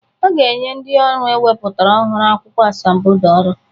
A ga-enye ndị ọrụ ewepụtara ọhụrụ akwụkwọ asambodo ọrụ